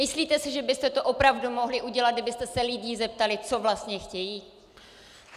Myslíte si, že byste to opravdu mohli udělat, kdybyste se lidí zeptali, co vlastně chtějí?